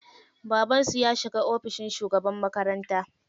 Babansu ya shiga ofishin shugaban makaranta.